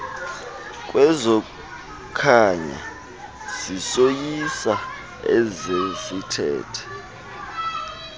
kwezokhanyo zisoyisa ezesithethe